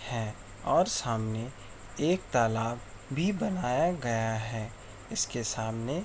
है और सामने एक तालाब भी बनाया गया है। इसके सामने --